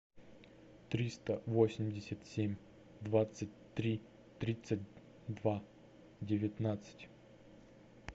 триста восемьдесят семь двадцать три тридцать два девятнадцать